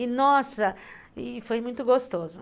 E, nossa, foi muito gostoso.